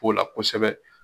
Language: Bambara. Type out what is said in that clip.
Kow la kosɛbɛ